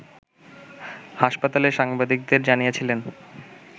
হাসপাতালে সাংবাদিকদের জানিয়েছিলেন